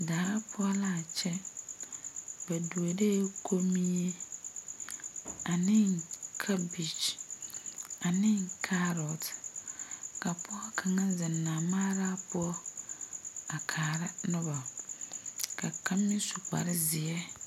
Daa poɔ laa kyɛ ba duoree kommie aneŋ kabage aneŋ kaarot ka pɔɔ kaŋa zeŋ namaaraa poɔ a kaara nobo ka kaŋ meŋ su kparezeɛ.